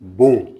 Bon